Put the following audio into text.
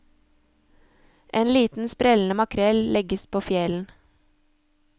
En liten sprellende makrell legges på fjelen.